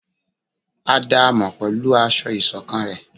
À daámọ pẹlú aṣọ isokán rẹ